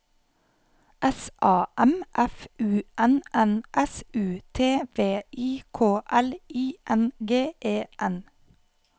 S A M F U N N S U T V I K L I N G E N